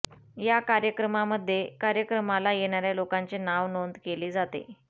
या कार्यक्रमामध्ये कार्यक्रमाला येणाऱ्या लोकांचे नाव नोंद केले जाते